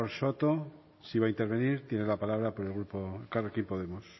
soto sí va a intervenir tiene la palabra por el grupo elkarrekin podemos